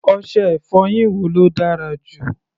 Ọṣẹ-ìfọyín wo ló dára jù?